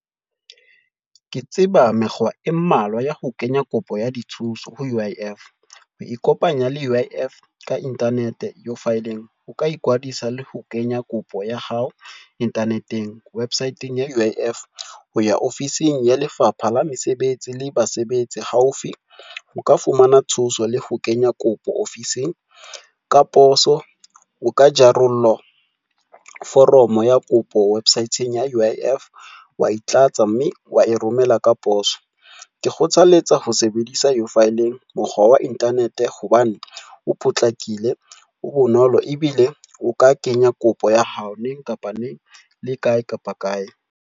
Ke tseba mekgwa e mmalwa ya ho kenya kopo ya dithuso ho U_I_F. Ho ikopanya le U_I_F ka internet U-filing, o ka ikwadisa le ho kenya kopo ya hao internet-eng websit-eng ya U_I_F, ho ya ofising ya Lefapha la Mesebetsi la Basebetsi e haufi, o ka fumana thuso le ho kenya kopo ofising ka poso. O ka jarolla foromo ya kopo website-ng ya U_I_F wa e tlatsa mme wa e romela ka poso. Ke kgothaletsa ho sebedisa U-filing mokgwa wa internet, hobane o potlakile, o bonolo ebile o ka kenya kopo ya hao neng kapa neng le kae kapa kae.